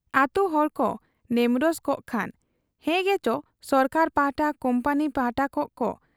ᱟᱹᱛᱩ ᱦᱚᱲᱠᱚ ᱱᱮᱢᱨᱚᱥ ᱠᱚᱜ ᱠᱷᱟᱱ ᱦᱮᱸᱜᱮᱪᱚ ᱥᱚᱨᱠᱟᱨ ᱯᱟᱦᱴᱟ, ᱠᱩᱢᱯᱟᱱᱤ ᱯᱟᱦᱴᱟ ᱠᱚᱜ ᱠᱚ ᱾